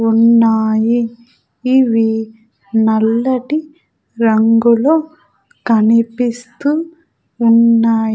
ఉన్నాయి ఇవి నల్లటి రంగులో కనిపిస్తూ ఉన్నాయ్.